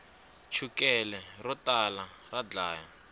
chukele ro tala ra dlaya